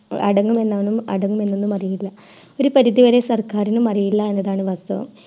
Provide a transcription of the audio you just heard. അടങ്ങുമെന്ന് അറിയില്ല ഒരു പരിധി വരെ സർക്കാരിനു അറിയില്ല എന്നതാണ് വാസ്തവം